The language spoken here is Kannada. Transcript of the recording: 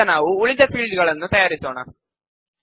ಈಗ ನಾವು ಉಳಿದ ಫೀಲ್ಡ್ ಗಳನ್ನು ತಯಾರಿಸೋಣ